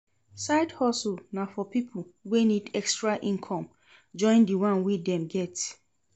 Side hustle na for pipo wey need extra income join di one wey dem get